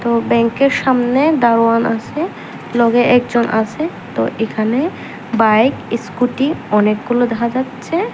ও ব্যাংকের সামনে দারোয়ান আসে লগে একজন আসে তো এখানে বাইক ইস্কুটি অনেকগুলো দেখা যাচ্ছে।